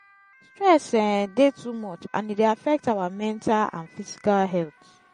stress um dey too much and e dey affect our mental and physical health.